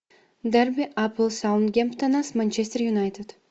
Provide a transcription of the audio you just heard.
дерби апл саутгемптона с манчестер юнайтед